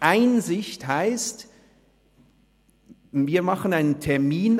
«Einsicht» heisst, wir vereinbaren einen Termin.